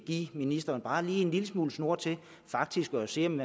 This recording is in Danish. give ministeren bare en lille smule snor til faktisk at se om